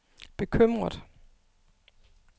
bekymret